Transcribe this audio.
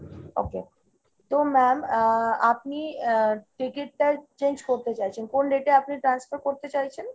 okay। তো ma'am আহ আপনি আহ ticket টা change করতে চাইছেন। কোন date এ আপনি transfer করতে চাইছেন ?